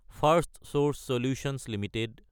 ফাৰ্ষ্টচোৰ্চ solutions Ltd